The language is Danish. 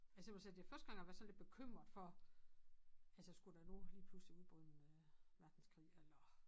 Altså jeg vil sige det er første gang jeg har været sådan lidt bekymret for altså skulle der nu lige pludselig udbryde en verdenskrig eller